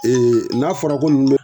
n'a fɔra ko n nu